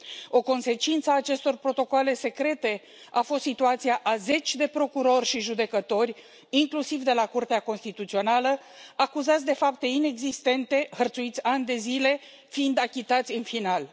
O consecință a acestor protocoale secrete a fost situația a zeci de procurori și judecători, inclusiv de la Curtea Constituțională, acuzați de fapte inexistente, hărțuiți ani de zile, fiind achitați în final.